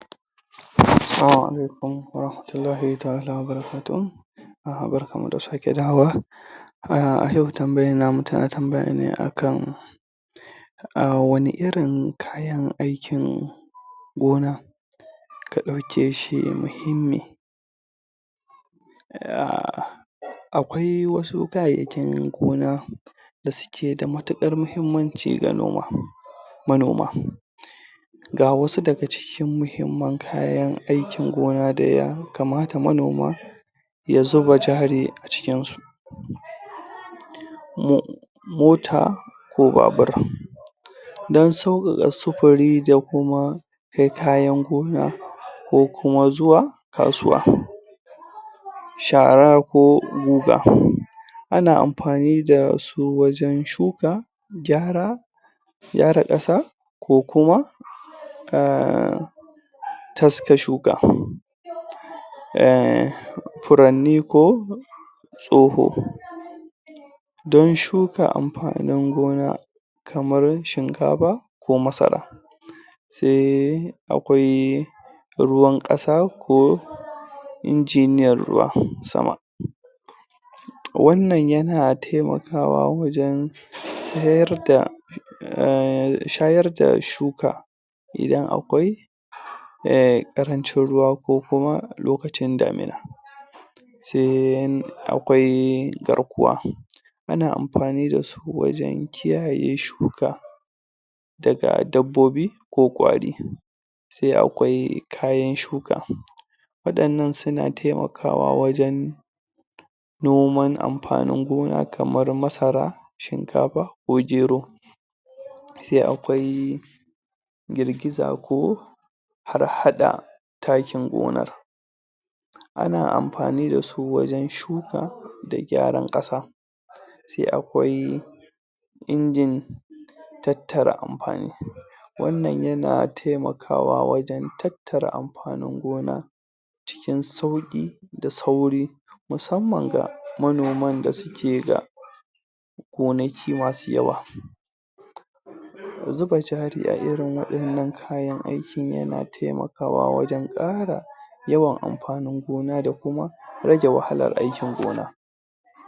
Assalamu Alaikum wa rahmatullahi taʼala wa baraka tuhu. Barkanmu da sa ke dawowa. A yau tambayan namu tana tambaya ne a kan um wani irin kayan aikin gona ka dauke shi muhimmi. um Akwai wasu kayayyakin gona da suke da matuƙar mahimmanci ga noma. manoma Ga wasu daga cikin mahimman kayan aikin gona da ya kamata manoma ya zuba jari a cikin su. mu Mota ko babur, don sauƙaƙa sufuri da kuma kai kayan gona ko kuma zuwa kasuwa. Shara ko guga, ana amfani dasu wajen shuka, gyara, gyara ƙasa, ko kuma um taske shuka um furanni ko tsoho, don shuka amfanin gona kamar shinkafa ko masara. Sai akwai ruwan ƙasa ko injiniyar ruwan sama, wannan yana taimakawa wajen tsayar da um shayar da shuka idan akwai um ƙarancin ruwa ko kuma lokacin daamina. Sai akwai garkuwa, ana amfani da su wajen kiyaye shuka daga dabbobi ko kwari. Sai akwai kayan shuka, waɗannan suna taimakawa wajen noman amfanin gona kaman masara, shinkafa ko gero. Sai akwai girgiza ko harhaɗa taakin gonar. Ana amfani dasu wajen shuka da gyaran ƙasa. Sai akwai injin tattara amfanin wannan yana taimakawa wajen tattara amfanin gona cikin sauƙi da sauri musamman ga manoman da suke da gonaki masu yawa. Zuba jaari a irin waɗannan kayan aikin yana taimakawa wajen ƙara yawan amfanin gona da kuma rage wahalar aikin gona.